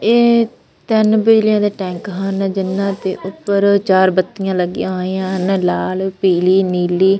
ਇਹ ਤਿੰਨ ਬਿਜਲੀਆਂ ਦੇ ਟੈਂਕ ਹਨ ਜਿੰਨਾਂ ਤੇ ਉੱਪਰ ਚਾਰ ਬੱਤੀਆਂ ਲੱਗੀਆਂ ਹੋਈਆਂ ਲਾਲ ਪੀਲੀ ਨੀਲੀ।